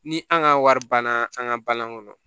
Ni an ka wari banna an ka balan kɔnɔ